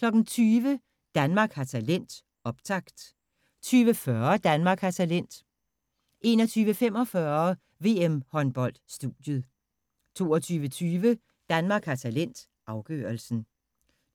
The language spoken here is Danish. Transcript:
20:00: Danmark har talent – optakt 20:40: Danmark har talent 21:45: VM-håndbold: Studiet 22:20: Danmark har talent – afgørelsen